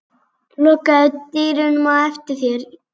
Lokaðu dyrunum á eftir þér.